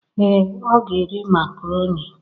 Ee, ọ ga-eri macaroni